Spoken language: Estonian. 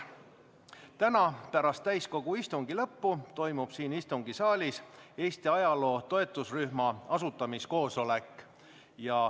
Täna pärast täiskogu istungi lõppu toimub siin istungisaalis Eesti ajaloo toetusrühma asutamise koosolek.